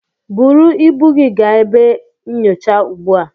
Buru ibu gị gaa ebe nyocha ugbu a.